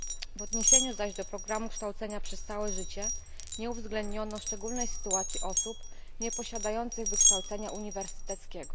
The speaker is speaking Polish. W odniesieniu zaś do programu kształcenia przez całe życie nie uwzględniono szczególnej sytuacji osób nieposiadających wykształcenia uniwersyteckiego.